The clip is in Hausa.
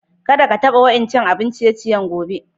Kada ka taba wa'incan abin ciye-ciye gobe.